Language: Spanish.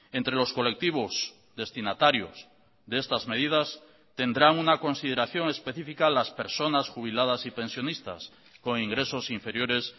entre los colectivos destinatarios de estas medidas tendrán una consideración específica las personas jubiladas y pensionistas con ingresos inferiores